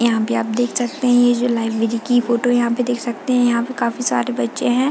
यहाँ पे आप देख सकते है ये जो लाइब्रेरी की फोटो यहाँ पे देख सकते है यहाँ पे काफी सारे बच्चे है।